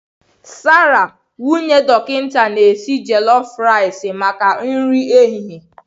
Sarah nwunye dọkịta na-esi jolof ricei maka nri ehihie.